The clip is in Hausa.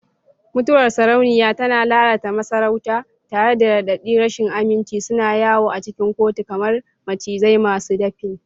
Mutuwar sarauniya tana lalata masarauta, tare da raɗaɗin rashin aminci suna yawo a cikin kotu kamar macizai masu dafin.